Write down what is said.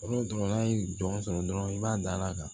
n'a ye jɔn sɔrɔ dɔrɔn i b'a da a kan